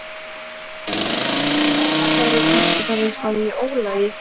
Var ég kannski bara eitthvað í ólagi?